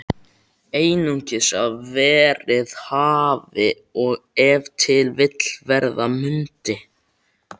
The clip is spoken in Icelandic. Einungis að verið hafi og ef til vill verða mundi.